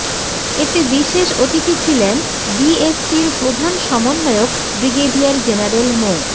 এতে বিশেষ অতিথি ছিলেন বিএসসির প্রধান সমন্বয়ক ব্রিগেডিয়ার জেনারেল মো